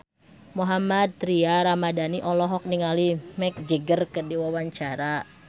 Mohammad Tria Ramadhani olohok ningali Mick Jagger keur diwawancara